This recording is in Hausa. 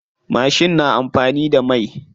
Mashin na amfani da mai.